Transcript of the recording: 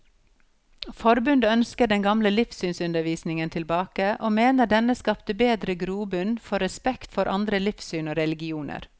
Forbundet ønsker den gamle livssynsundervisningen tilbake, og mener denne skapte bedre grobunn for respekt for andre livssyn og religioner.